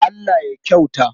Allah ya kyauta.